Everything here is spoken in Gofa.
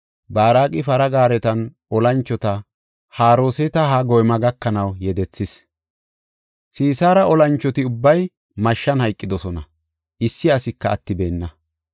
Baaraqi para gaaretanne olanchota Haroseet-Hagoyma gakanaw yedethis. Sisaara olanchoti ubbay mashshan hayqidosona; issi asika attibeenna.